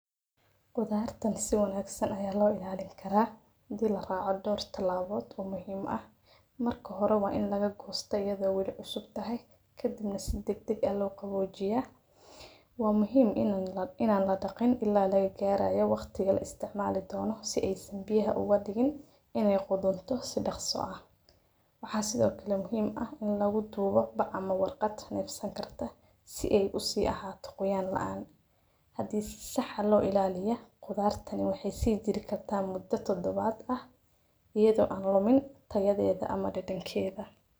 Qudartaan si wanaagsan ayaa loo ilaalini karaa di la raaco doorti laabood oo muhiim ah. Marka hore waa in laga goosto iyadoo wili cusub tahay ka dibna sid degdeg ah loo qaboojiyaa. Waa muhiim inaan la in aan la dhaqin illaa laga gaaraya waqtiga la isticmaali dhono si ay isembiyaha u wadagin inay quduntahay si dhakhso ah. Waxaa sidoo kale muhiim ah in lagu duubo bac amo warqad neefsan kartaa si ay u sii ahaa toqoyaan la'aan. Hadiis sax ah loo ilaaliyaa. Qodartani waxay sii jiri kartaa muddo todobaad ah iyadoo aan lomin tayadeeda ama dhadhankeda.